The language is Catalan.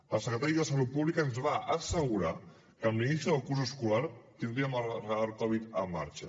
el secretari de salut pública ens va assegurar que amb l’inici del curs escolar tindríem el radar covid en marxa